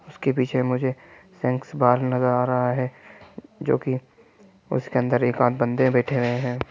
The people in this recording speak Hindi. उसके पीछे मुझे स्नैक्स बार नजर आ रहा है जो कि उसके अंदर एक आध बंदे बैठे हुए हैं।